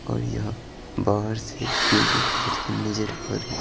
और यहां बाहर से पीरी कलर की नजर आ रही--